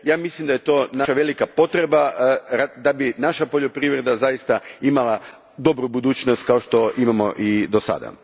Mislim da je to naša velika potreba da bi naša poljoprivreda zaista imala dobru budućnost, kao što je imala i do sada.